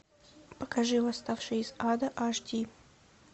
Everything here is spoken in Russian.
покажи восставшие из ада аш ди